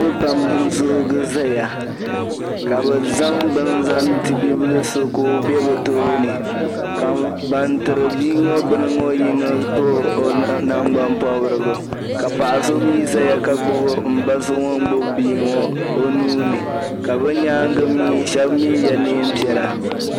niriba pam n-zoogi zaya ka bɛ zaŋ bini zaŋ ti bibila so ka o gbubi o be bɛ tooni ka ban tiri bia ŋɔ bini ŋɔ yino lɔbi nangbampɔbirigu ka paɣa so mi zaya ka gbubi m ba so ŋun gbubi bia ŋɔ o nuu ni ka bɛ nyaaŋga mi shɛba mi ye neem' piɛla